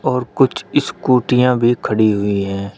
और कुछ स्कूटियां भी खड़ी हुई है।